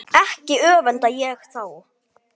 Hann hafði fengið John